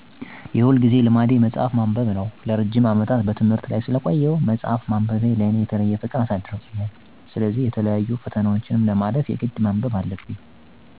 የሁልጊዜ ልማዴ መጽሐፍ ማንበብ ነው። ለረጅም አመታት በትምህርት ላይ ስለቆየሁ ማለትም ከአንደኛ ክፍል እስከ አስራሁለተኛ ክፍል፤ ከዚያ በደብረማርቆስ ዩኒቭርሲቲ ለአምስት አመት፤ ከዚያ በብሉ ማርክ ኮሌጅ ለአራት አመት በመቆየቴ መጽሐፍ ማንበብ ለእኔ የተለየ ፍቅር ከመኖርም በላይ ትልቅ ተፅዕኖ አሳድሮብኛል። የተለያዪ የምዝና ፈተናዎችን ለማለፍ የግድ ማጥናት ስላለብኝ ሁልጊዜ አጠናለሁ።